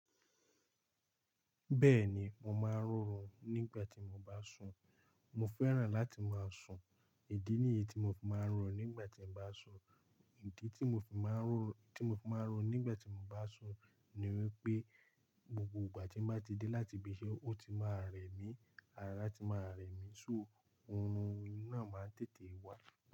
Bẹ́ẹ̀ni, mo máa ń rọhùn nígbà tí mo bá sùn. Mo fẹ́ràn láti máa sùn, ìdí nìyí tí mo fi máa ń rọhùn nígbà tín mo bá sùn. Ìdí tí mo fi máa ń ro, tí mo fi máa ń rohùn nígbà tí mo bá sùn ni wípé, gbogbo ìgbà tí mo bá ti dé láti ibiṣẹ́, ó ti máa rẹ mí, ara ti máa rẹ mí. So, orun náà máa ń tètè wá.